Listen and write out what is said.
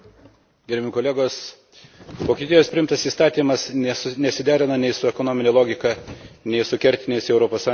Vokietijos priimtas įstatymas nesiderina nei su ekonomine logika, nei su kertiniais Europos Sąjungos vidaus rinkos veikimo principais.